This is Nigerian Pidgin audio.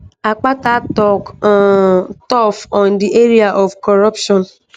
akpata tok um tough on di area of corruption.